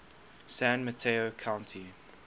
san mateo county